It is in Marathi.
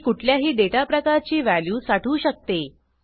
की कुठल्याही डेटा प्रकारची व्हॅल्यू साठवू शकते